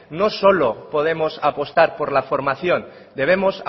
no solo podemos apostar por la formación debemos